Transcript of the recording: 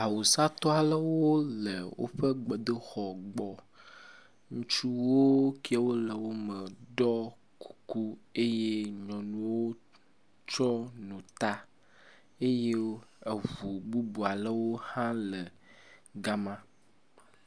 Awusatɔ alewo le wƒe gbedoxɔ gbɔ. Ŋutsuwo kewo le wome ɖɔ kuku eye nyɔnuwo tsɔ nu ta eye eŋu bubu alewo hã le gama.